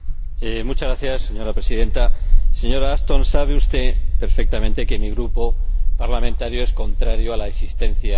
Señora Presidenta, señora Ashton, sabe usted perfectamente que mi grupo parlamentario es contrario a la existencia de la OTAN.